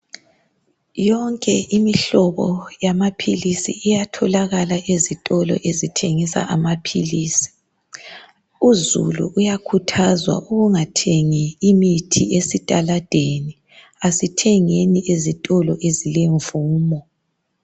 yonke imihlobo yamaphilisi iyatholakala ezitolo ezithengisa amaphilisi uzulu uyakhuthazwa ukungathengi amaphilisi ezitaladeni asithengeni ezitolo ezilemvumo